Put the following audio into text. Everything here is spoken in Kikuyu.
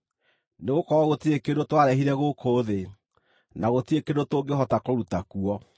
Nĩgũkorwo gũtirĩ kĩndũ twarehire gũkũ thĩ, na gũtirĩ kĩndũ tũngĩhota kũruta kuo.